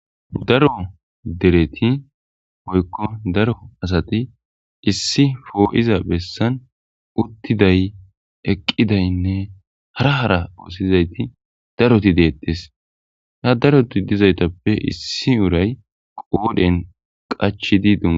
Daro deretti woykko daro asati issi po7iza besaan uttiday, eqidaynne hara hara oothizayti daroththi deettes. Ha darothi dizsytappe issi uray qoobe huuphphen qachchidi.